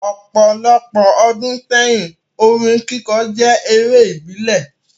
Opolopo odun seyin, orin kikọ je ere ibile